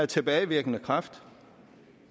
tilbagevirkende kraft